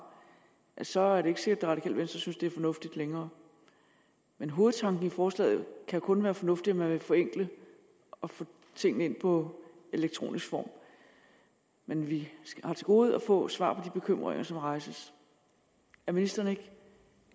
så er det ikke sikkert at det radikale venstre synes det er fornuftigt længere men hovedtanken i forslaget kan kun være fornuftig altså at man vil forenkle og få tingene ind på elektronisk form men vi har til gode at få svar på de bekymringer som rejses er ministeren ikke